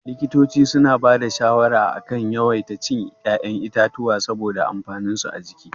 Likitoci suna ba da shawara a kan a yawaita cin ya'yan itatuwa saboda amfaninsu a jiki.